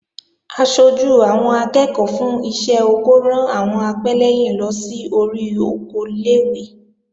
Aṣojú àwọn akẹ́ẹ̀kọ́ fún iṣẹ́ oko ran àwọn apẹ́lẹ́yìn lọ sí orí oko ilé-ìwé